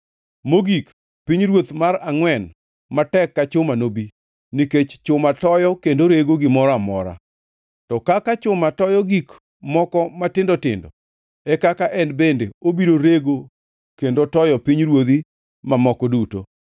Mogik, pinyruoth mar angʼwen matek ka chuma nobi, nikech chuma toyo kendo rego gimoro amora, to kaka chuma toyo gik moko matindo tindo, e kaka en bende obiro rego kendo toyo pinyruodhi mamoko duto.